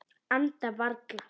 Anda varla.